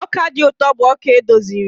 ọka dị ụtọ bụ ọka edoziri